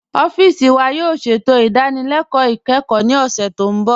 Ọfiisi wa yóò ṣẹ̀tò idànílélẹ̀kọ ikẹ́kọ̀ ní ọṣẹ̀ tó nbọ̀.